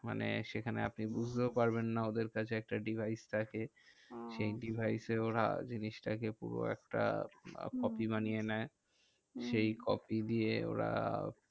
মানে সেখানে আপনি বুজতেও পারবেন না ওদের কাছে একটা device থাকে। সেই device এওরা জিনিসটা কে পুরো একটা copy বানিয়ে নেয়। সেই copy দিয়ে ওরা